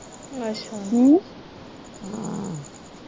ਅੱਛਾ